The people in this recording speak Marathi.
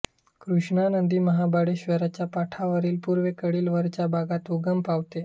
कृष्णा नदी महाबळेश्वरच्या पठारावरील पूर्वेकडील वरच्या भागात उगम पावते